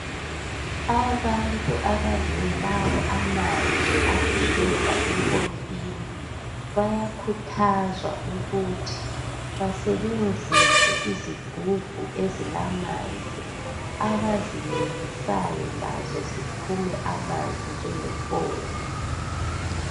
Abantu abangelawo amanzi ageleza empompini, bayakhuthazwa ukuthi basebenzise izigubhu ezilamanzi abazilengisayo lazo ziphume amanzi njenge mpompi.